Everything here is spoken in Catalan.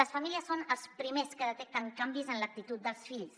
les famílies són els primers que detecten canvis en l’actitud dels fills